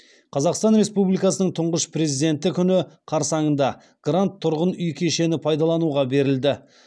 қазақстан республикасының тұңғыш президенті күні қарсаңында грант тұрғын үй кешені пайдалануға берілді